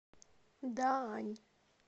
даань